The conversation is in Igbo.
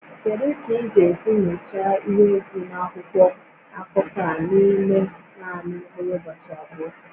Kedu ka ị ga-esi nyochaa ihé dị n'akwụkwọ akụkọ a n'ime naanị mkpụrụ ụbọchị abụọ?